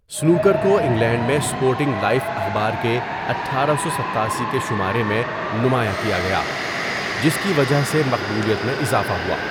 Snooker کو England میں sporting life اخبار کے اٹھارہ سو ستاسی کے شمارے میں نمایاں کیا گیا، جس کی وجہ سے مقبولیت میں اضافہ ہوا۔